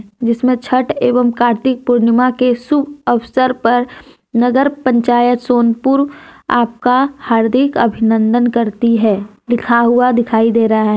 जिसमें छठ एवं कार्तिक पूर्णिमा के शुभ अवसर पर नगर पंचायत सोनपुर आपका हार्दिक अभिनंदन करती है लिखा हुआ दिखाई दे रहा है।